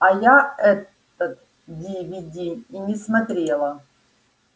а я этот дивиди и не смотрела